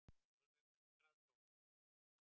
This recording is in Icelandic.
Alveg hundrað prósent.